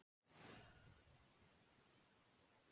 Smekklegur húmor í smekklaus